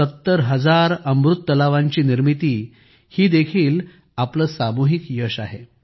70 हजार अमृत तलावांचे निर्माण हे देखील आमचे सामूहिक यश आहे